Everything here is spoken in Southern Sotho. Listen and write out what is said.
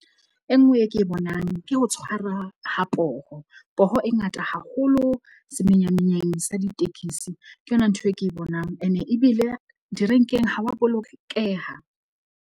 E nngwe e ke bonang ke ho tshwara ha poho. Poho e ngata haholo semenya menyang sa ditekisi ke yona ntho e ke bonang. Ene e ebile direnkeng, ha wa bolokeha.